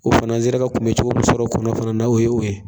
O fan'an sera ka kunbɛ cogo min sɔrɔ kɔnɔ fana na o y'o ye.